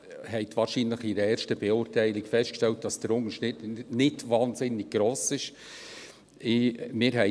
Wahrscheinlich haben Sie bei der ersten Beurteilung festgestellt, dass der Unterschied nicht wahnsinnig gross ist.